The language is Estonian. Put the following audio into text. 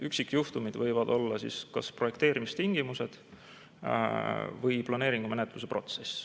Üksikjuhtumid võivad olla kas projekteerimistingimused või planeeringumenetluse protsess.